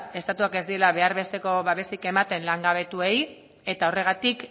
estatuak ez diela behar besteko babesik ematen langabetuei eta horregatik